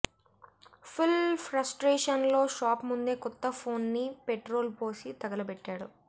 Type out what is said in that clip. full frustration లో shop ముందే కొత్త ఫోన్ ని పెట్రోల్ పోసి తగలబెట్టాడు